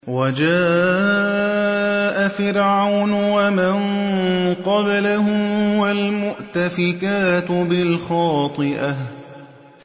وَجَاءَ فِرْعَوْنُ وَمَن قَبْلَهُ وَالْمُؤْتَفِكَاتُ بِالْخَاطِئَةِ